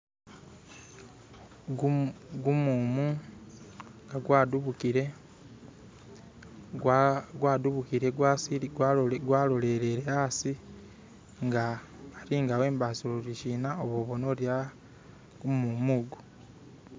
Gumumu gwadubukile gwalolelele asi nga ari nga wembasile oli sina uboona uri gumumu ugwo.